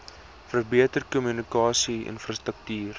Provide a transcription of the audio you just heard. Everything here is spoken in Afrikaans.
verbeter kommunikasie infrastruktuur